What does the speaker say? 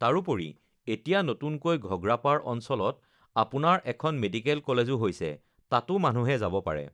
তাৰোপৰি এতিয়া নতুনকৈ ঘগ্ৰাপাৰ অঞ্চলত আপোনাৰ এখন মেডিকেল কলেজো হৈছে তাতো মানুহে যাব পাৰে,